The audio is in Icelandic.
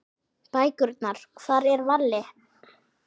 Bækurnar Hvar er Valli?